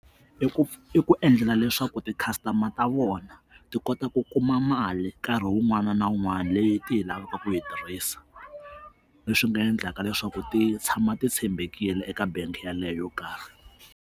I ku i ku endlela leswaku ti-customer ta vona ti kota ku kuma mali nkarhi wun'wana na wun'wana leyi ti hi lavaka ku yi tirhisa leswi nga endlaka leswaku ti tshama ti tshembekile eka bank yeleyo yo karhi.